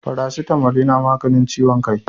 Faracitamol yana maganin ciwon kaii.